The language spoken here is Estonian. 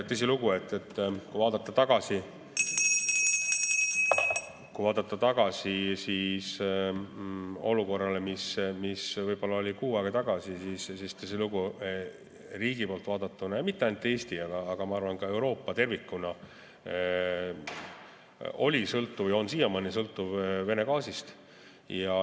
Tõsilugu, kui vaadata tagasi olukorrale, mis oli kuu aega tagasi, siis riigi poolt vaadatuna ja mitte ainult Eesti, vaid ma arvan, et ka Euroopa tervikuna oli sõltuv ja on siiamaani sõltuv Vene gaasist.